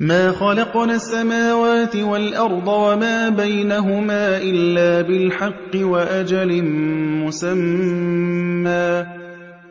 مَا خَلَقْنَا السَّمَاوَاتِ وَالْأَرْضَ وَمَا بَيْنَهُمَا إِلَّا بِالْحَقِّ وَأَجَلٍ مُّسَمًّى ۚ